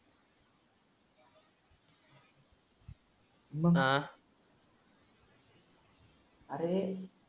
मग अरे